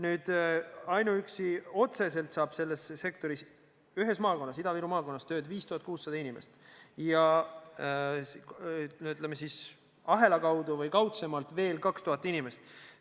Edasi: otseselt saab selles sektoris ühes maakonnas, Ida-Viru maakonnas, tööd 5600 inimest, ahela kaudu või kaudsemalt aga veel 2000 inimest.